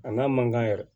A n'a mankan yɛrɛ